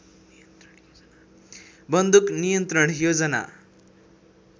बन्दुक नियन्त्रण योजना